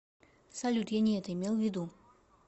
салют я не это имел ввиду